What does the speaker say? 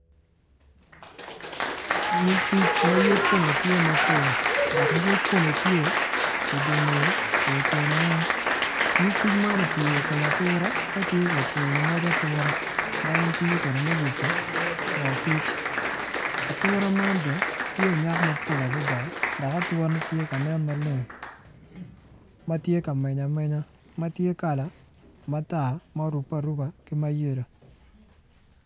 Nyig kic ma yec kome tye mapol dok yec kome tye i dingeye ma ityene weng nyig kic man opye i kom ature ka tye ka cwino moc ature ma en tiyo kede me yubo mo kic atura man bene tye onyak mapol adada dok ature ne tye kanen maleng matye ka meny amenya matye kala matar ma orube aruba ki ma yelo.